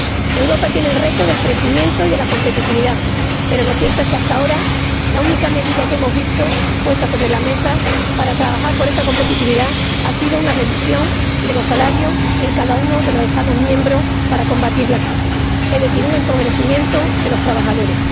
Europa tiene el reto del crecimiento y de la competitividad, pero lo cierto es que, hasta ahora, la única medida que hemos visto puesta sobre la mesa para trabajar por esa competitividad ha sido una reducción de los salarios en cada uno de los Estados miembros para combatir la crisis, es decir, un empobrecimiento de los trabajadores.